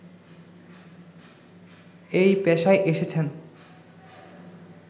এই পেশায় এসেছেন